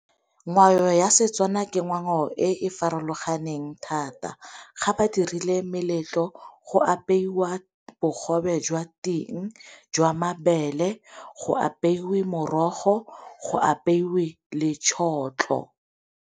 Ngwao ya Setswana ke ngwao e e farologaneng thata ga ba dirile meletlo go apeiwa bogobe jwa ting jwa mabele, go apeiwe morogo, go apeiwe le tšhotlho.